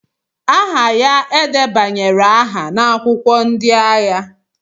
aha ya e debanyere aha n'akwụkwọ ndị agha